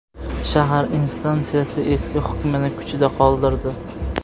Shahar instansiyasi eski hukmni kuchida qoldirdi.